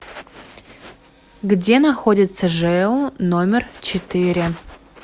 где находится жэу номер четыре